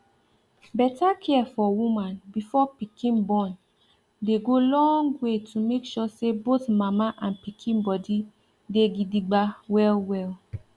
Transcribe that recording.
better care for woman before pikin born dey go long way to make sure say both mama and pikin body dey gidigba well well